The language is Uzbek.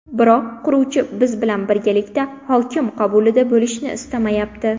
Biroq quruvchi biz bilan birgalikda hokim qabulida bo‘lishni istamayapti.